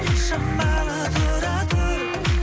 шамалы тұра тұр